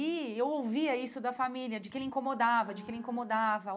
E eu ouvia isso da família, de que ele incomodava, de que ele incomodava.